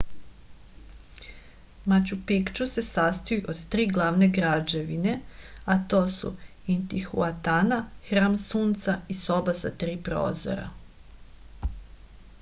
maču pikču se sastoji od tri glavne građevine a to su intihuatana hram sunca i soba sa tri prozora